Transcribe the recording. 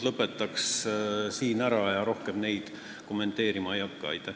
Ma seda rohkem kommenteerima ei hakka.